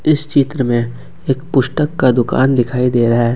इस चित्र में एक पुस्तक का दुकान दिखाई दे रहा है।